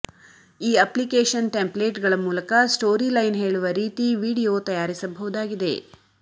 ಈ ಅಪ್ಲಿಕೇಶನ್ ಟೆಂಪ್ಲೇಟ್ಸ್ಗಳ ಮೂಲಕ ಸ್ಟೋರಿ ಲೈನ್ ಹೇಳುವ ರೀತಿ ವಿಡಿಯೋ ತಯಾರಿಸಬಹುದಾಗಿದೆ